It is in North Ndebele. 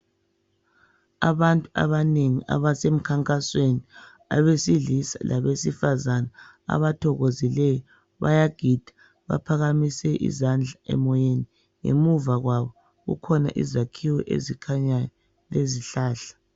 Abantu abanengi abasemkhankasweni abesilisa labesifazana abathokozileyo. Bayagida baphakamise izandla emoyeni. Ngemuva kwabo kukhona izakhiwo ezikhanyayo lezihlahla.